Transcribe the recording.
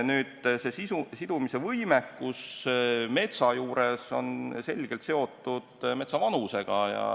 Nüüd, süsiniku sidumise võimekus metsa puhul on selgelt seotud metsa vanusega.